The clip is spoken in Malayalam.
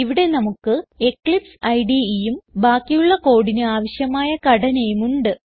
ഇവിടെ നമുക്ക് എക്ലിപ്സ് IDEയും ബാക്കിയുള്ള കോഡിന് ആവശ്യമായ ഘടനയും ഉണ്ട്